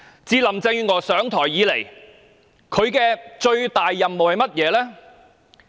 自林鄭月娥上台後，她的最大任務是甚麼呢？